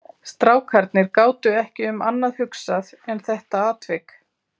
Strákarnir gátu ekki um annað hugsað en þetta atvik.